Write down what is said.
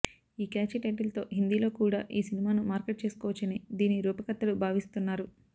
ఈ క్యాచీ టైటిల్తో హిందీలో కూడా ఈ సినిమాను మార్కెట్ చేసుకోవచ్చని దీని రూపకర్తలు భావిస్తున్నారు